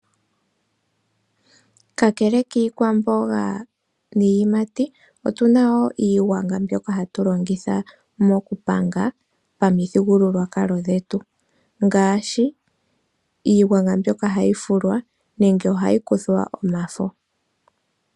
Kakele kiikwamboga niiyimati otuna wo iigwanga mbyoka hatu longitha mokupanga pamuthigululwakalo dhetu ngaashi, iigwanga mbyoka hayi fulwa nenge ohayi kuthwa omafo.